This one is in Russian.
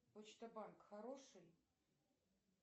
почта банк хороший